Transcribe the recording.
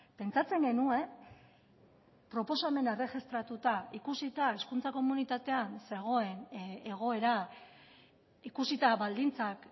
pentsatzen genuen proposamena erregistratuta ikusita hezkuntza komunitatean zegoen egoera ikusita baldintzak